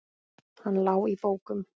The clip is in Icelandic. Hann lá í bókum.